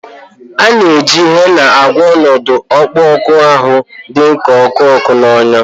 A na-eji Hena agwọ ọnọdụ akpụkpọ ahụ dị ka ọkụ ọkụ na ọnyá